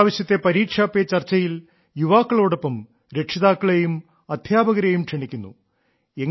ഇപ്രാവശ്യത്തെ പരീക്ഷാ പേ ചർച്ചയിൽ യുവാക്കളോടൊപ്പം രക്ഷിതാക്കളെയും അദ്ധ്യാപകരെയും ക്ഷണിക്കുന്നു